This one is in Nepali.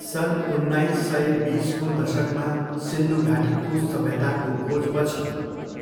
सन् उन्नाइस सय बिसको दशकमा सिन्धु घाटीको सभ्यताको खोजपछि,